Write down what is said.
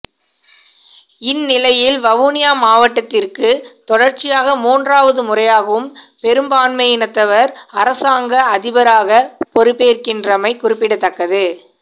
இந் நிலையில் வவுனியா மாவட்டத்திற்கு தொடர்ச்சியாக மூன்றாவது முறையாகவும் பெரும்பான்மையினத்தவர் அரசாங்க அதிபராக பொறுப்பேற்கின்றமை குறிப்பிடத்தக்கது